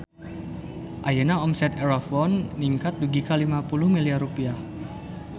Ayeuna omset Erafone ningkat dugi ka 50 miliar rupiah